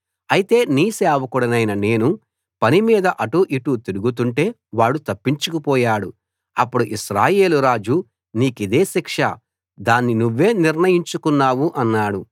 అయితే నీ సేవకుడనైన నేను పనిమీద అటూ ఇటూ తిరుగుతుంటే వాడు తప్పించుకు పోయాడు అప్పుడు ఇశ్రాయేలు రాజు నీకిదే శిక్ష దాన్ని నువ్వే నిర్ణయించుకున్నావు అన్నాడు